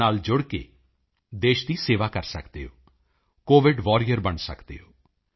in ਨਾਲ ਜੁੜ ਕੇ ਦੇਸ਼ ਦੀ ਸੇਵਾ ਕਰ ਸਕਦੇ ਹੋ ਕੋਵਿਡ ਵਾਰੀਅਰ ਬਣ ਸਕਦੇ ਹੋ